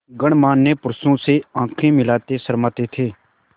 गणमान्य पुरुषों से आँखें मिलाते शर्माते थे